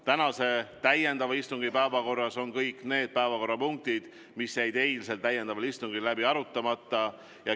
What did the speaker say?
Tänase täiendava istungi päevakorras on kõik need päevakorrapunktid, mis jäid eilsel täiendaval istungil läbi arutamata.